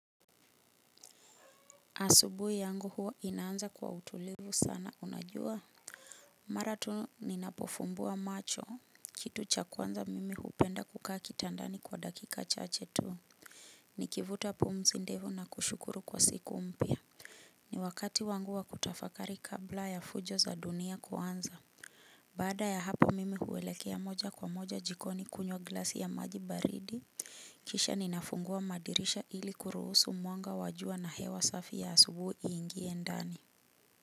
Asubuhi yangu huwa inaanza kwa utulivu sana unajua? Mara tu ninapofumbua macho. Kitu cha kwanza mimi hupenda kukaa kitandani kwa dakika chache tu. Nikivuta pumzi ndefu na kushukuru kwa siku mpya. Ni wakati wangu wa kutafakari kabla ya fujo za dunia kuanza. Baada ya hapa mimi huelekea moja kwa moja jikoni kunywa glasi ya maji baridi. Kisha ninafungua madirisha ili kuruhusu mwanga wa jua na hewa safi ya asubuhi iingie ndani.